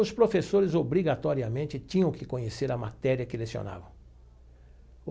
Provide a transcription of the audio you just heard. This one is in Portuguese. Os professores obrigatoriamente tinham que conhecer a matéria que lecionavam.